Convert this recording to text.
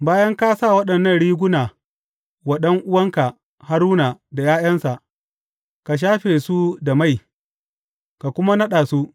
Bayan ka sa waɗannan riguna wa ɗan’uwanka Haruna da ’ya’yansa, ka shafe su da mai, ka kuma naɗa su.